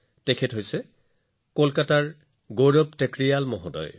এখেত কলকাতাৰ গৌৰৱ টেকৰিৱাল জী